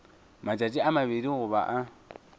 matšatši a mabedi goba a